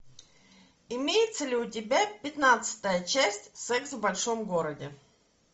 имеется ли у тебя пятнадцатая часть секс в большом городе